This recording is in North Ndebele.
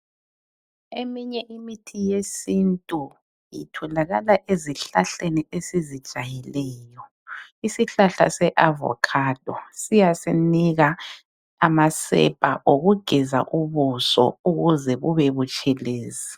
Eminye imithi yesintu itholakala ezihlahleni esizijayeleyo isihlahla se avocado siyasinika amasepa obuso ukuze bube butshelezi.